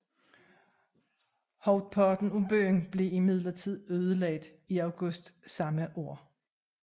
Hovedparten af byen blev imidlertid ødelagt i august samme år